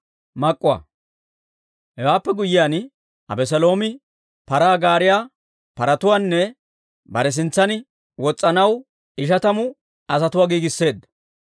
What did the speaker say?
Hewaappe guyyiyaan, Abeseeloomi paraa gaariyaa, paratuwaanne bare sintsan wos's'anaw ishatamu asatuwaa giigisseedda.